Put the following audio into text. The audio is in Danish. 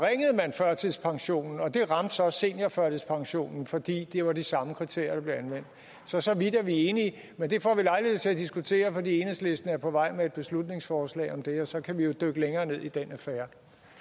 førtidspensionen og det ramte så seniorførtidspensionen fordi det var de samme kriterier der blev anvendt så så vidt er vi enige men det får vi lejlighed til at diskutere for enhedslisten er på vej med et beslutningsforslag om det og så kan vi jo dykke længere ned i den affære